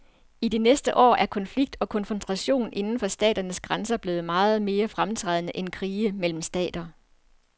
I de seneste år er konflikt og konfrontation inden for staternes grænser blevet meget mere fremtrædende end krige mellem stater.